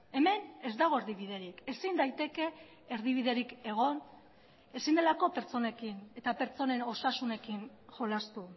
hemen ez dago erdibiderik ezin daiteke erdibiderik egon ezin delako pertsonekin eta pertsonen osasunekin jolastu